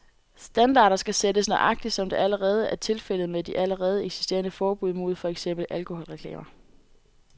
Standarder skal sættes, nøjagtigt som det allerede er tilfældet med de allerede eksisterende forbud mod for eksempel alkoholreklamer.